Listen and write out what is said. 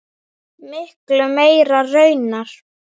Miklu meira raunar.